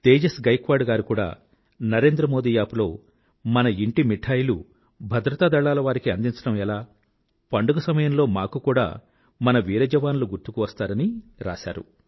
తేజస్ గైక్వాడ్ గారు కూడా న్ నరేండ్ర మోదీ యాప్ లో మన ఇంటి మిఠాయిలు భద్రతా దళాలవారికి అందించడం ఎలా పండుగ సమయంలో మాకు కూడా మన వీర జవానులు గుర్తుకు వస్తారని రాశారు